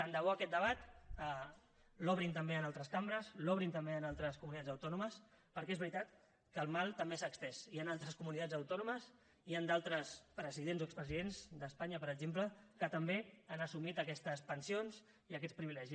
tant de bo aquest debat l’obrin també en altres cambres l’obrin també en altres comunitats autònomes perquè és veritat que el mal també s’ha estès hi han d’altres comunitats autònomes hi han d’altres presidents o expresidents d’espanya per exemple que també han assumit aquestes pensions i aquests privilegis